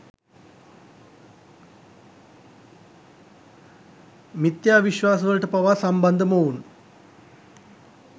මිත්‍යා විශ්වාස වලට පවා සම්බන්ධ මොවුන්